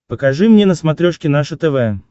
покажи мне на смотрешке наше тв